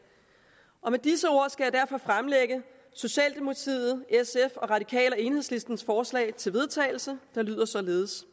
og med disse ord skal jeg derfor fremsætte socialdemokratiet sf radikale og enhedslistens forslag til vedtagelse der lyder således